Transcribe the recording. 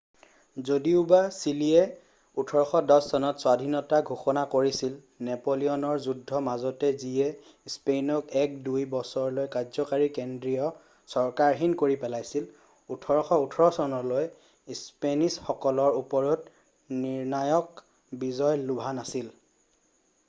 যদিওবা চিলিয়ে 1810 চনত স্বাধীনতা ঘোষণা কৰিছিলনেপোলিয়নৰ যুদ্ধৰ মাজত যিয়ে স্পেইনক এক -দুই বছৰলৈ কাৰ্য্যকৰী কেন্দ্ৰীয় চৰকাৰহীন কৰি পেলাইছিল,1818চনলৈ স্পেনিছসকলৰ ওপৰত নিৰ্ণায়ক বিজয় লভা নাছিল।